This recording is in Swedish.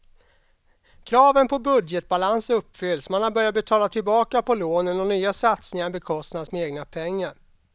Kraven på budgetbalans uppfylls, man har börjat betala tillbaka på lånen och nya satsningar bekostas med egna pengar.